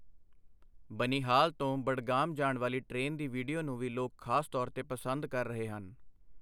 ਬਨਿਹਾਲ ਤੋਂ ਬਡਗਾਮ ਜਾਣ ਵਾਲੀ ਟ੍ਰੇਨ ਦੀ ਵੀਡੀਓ ਨੂੰ ਵੀ ਲੋਕ ਖ਼ਾਸ ਤੌਰ ਤੇ ਪਸੰਦ ਕਰ ਰਹੇ ਹਨ।